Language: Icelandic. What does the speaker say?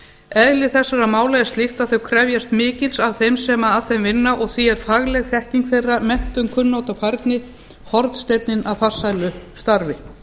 eðli þessara mála er slíkt að þau krefjast mikils af þeim sem að þeim vinna og því er fagleg þekking þeirra menntun kunnátta og færni hornsteinninn að farsælu starfi